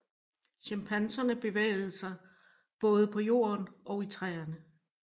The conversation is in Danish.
Chimpanserne bevæger sig både på jorden og i træer